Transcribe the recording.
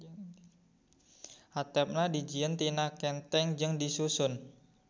Hateupna dijieun tina kenteng jeung disusun.